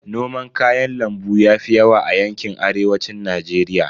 Noman kayan lambu yafi yawa a yanƙin Arewacin Najeriya.